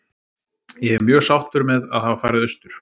Ég er mjög sáttur með að hafa farið austur.